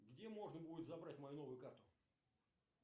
где можно будет забрать мою новую карту